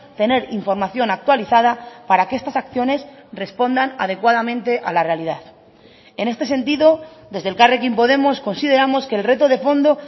tener información actualizada para que estas acciones respondan adecuadamente a la realidad en este sentido desde elkarrekin podemos consideramos que el reto de fondo